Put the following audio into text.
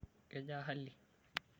Kejaa hali?